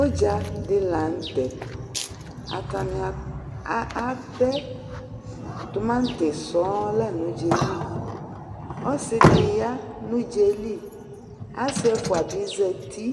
ũdza di la nũtɛ ́atania atɛ tũmati sɔo la nũ ũdzaeli ɔssidï ya nũdzaɛli assi ɛfua bi zati